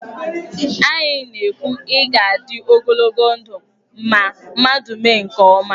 Anyị na- ekwu, 'ị ga-adị ogologo ndụ' ma mmadụ mee nke ọma.